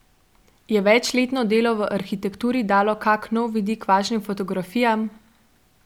Je večletno delo v arhitekturi dalo kak nov vidik vašim fotografijam?